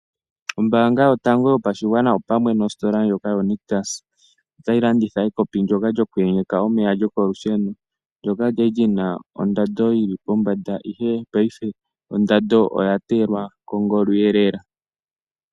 Ombaanga yotango yopashigwana opamwe nostola yoNictus otayi landitha ekopi lyokuyenyeka omeya lyokolusheno ndyono kwali lina oondando yili pombanda ihe paife ondando oya teyelwa kongolo lela.